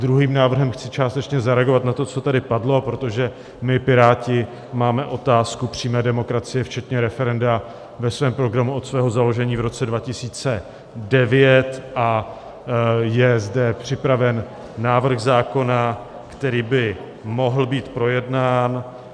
Druhým návrhem chci částečně zareagovat na to, co tady padlo, protože my Piráti máme otázku přímé demokracie včetně referenda ve svém programu od svého založení v roce 2009 a je zde připraven návrh zákona, který by mohl být projednán.